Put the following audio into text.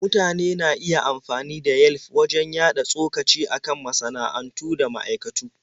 Mutane na iya amfani da Yelf wajen yaɗa tsokaci a kan masana'antu da ma'aikatu.